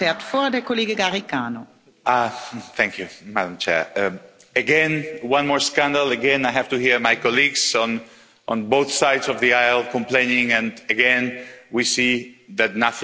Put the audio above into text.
Madam President, again one more scandal, again I have to hear my colleagues on both sides of the aisle complaining, and again we see that nothing happens in the fight against money laundering.